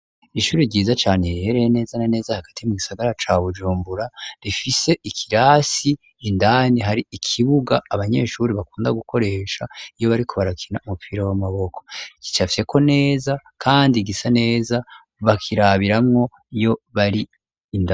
Ishuri ryiza cane, rihereye neza na neza hagati mu gisagara ca Bujumbura ,rifise ikirasi indani, hari ikibuga abanyeshuri bakunda gukoresha iyo bari kubarakina umupira w'amaboko, kicafiseko neza kandi gisa neza bakirabirayo Iyo bari indani